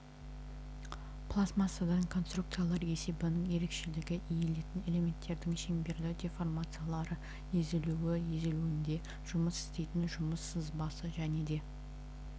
пластмассадан конструкциялар есебінің ерекшелігі иілетін элементтердің шеңберлі деформациялары езілуі езілуде жұмыс істейтін жұмыс сызбасы және де